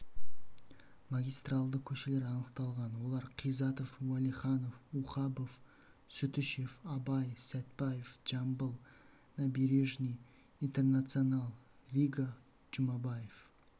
магистральді көшелер анықталған олар қизатов уәлиханов ухабов сүтішев абай сәтбаев жамбыл набережный интернационал рига жұмабаев